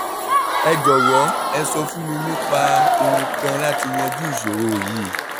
ẹ jọ̀wọ́ ẹ sọ fún mi nípa ohun kan láti yanjú ìṣòro yìí